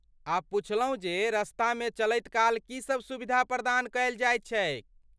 आ पुछलहुँ जे रस्तामे चलैतकाल की सब सुविधा प्रदान कयल जाइत छैक।